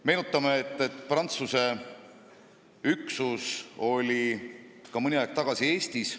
Meenutame, et Prantsuse üksus oli ka mõni aeg tagasi Eestis.